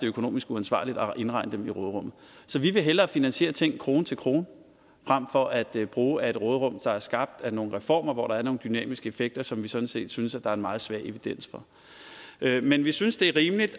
økonomisk uansvarligt at indregne dem i råderummet så vi vil hellere finansiere ting krone til krone frem for at bruge af et råderum der er skabt af nogle reformer hvor der er nogle dynamiske effekter som vi sådan set synes at der er en meget svag evidens for men vi synes det er rimeligt